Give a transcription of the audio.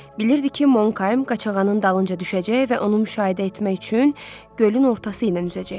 Bilirdi ki, Monkəym Qaçağanın dalınca düşəcək və onu müşahidə etmək üçün gölün ortası ilə üzəcək.